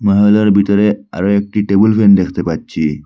ভিতরে আরও একটি টেবিল ফ্যান দেখতে পাচ্ছি।